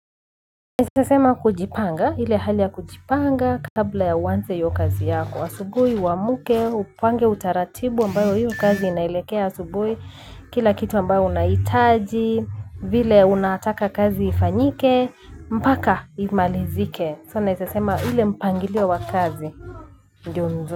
Naeza sema kujipanga ile hali ya kujipanga kabla ya uanze hiyo kazi yako asubuhi uamke upange utaratibu ambayo hiyo kazi inaelekea asubuhi kila kitu ambayo unahitaji vile unataka kazi ifanyike mpaka imalizike so naeza sema ile mpangilio wa kazi ndio nzuri.